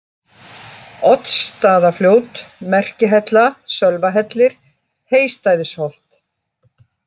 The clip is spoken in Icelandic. Oddsstaðafljót, Merkihella, Sölvahellir, Heystæðisholt